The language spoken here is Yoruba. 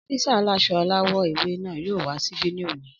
Ọ́físà aláṣọ aláwọ̀ ewé náà yóò wá síbí ní òní